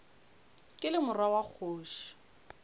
ke le morwa wa kgoši